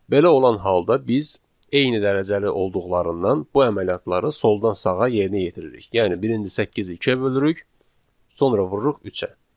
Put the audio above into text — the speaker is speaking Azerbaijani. Belə olan halda biz eyni dərəcəli olduqlarından bu əməliyyatları soldan sağa yerinə yetiririk, yəni birinci 8-i 2-yə bölürük, sonra vururuq 3-ə.